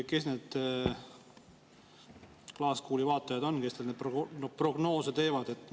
Kes need klaaskuuli vaatajad on, kes teil neid prognoose teevad?